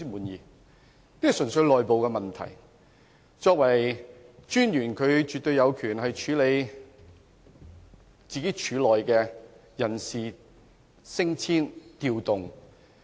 有關的人事變動純粹是內部問題，廉政專員絕對有權處理廉署的人事升遷或調動。